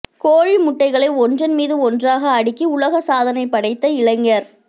கோழி முட்டைகளை ஒன்றன் மீது ஒன்றாக அடுக்கி உலக சாதனை படைத்த இளைஞர்